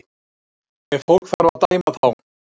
Ef fólk þarf að dæma þá